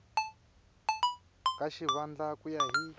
ka xivandla ku ya hi